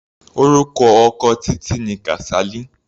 Orúkọ ọkọ Títí ni Kasali.